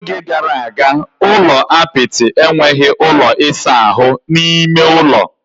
N'oge gara aga, ụlọ apịtị enweghị ụlọ ịsa ahụ n'ime ųlo.